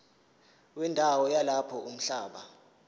wendawo yalapho umhlaba